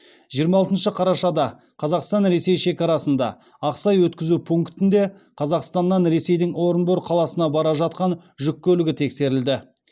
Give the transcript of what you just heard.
жиырма алтыншы қарашада қазақстан ресей шекарасында ақсай өткізу пунктінде қазақстаннан ресейдің орынбор қаласына бара жатқан жүк көлігі тексерілді